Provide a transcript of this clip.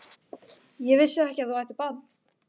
Ég vissi ekki að þú ættir barn?